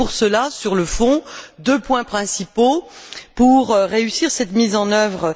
Et pour cela, sur le fond, deux points principaux s'imposent pour réussir cette mise en œuvre.